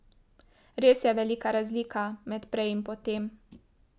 Res je velika razlika med prej in potem.